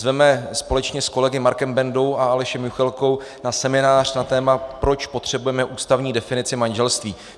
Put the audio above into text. Zveme společně s kolegy Markem Bendou a Alešem Juchelkou na seminář na téma Proč potřebujeme ústavní definici manželství.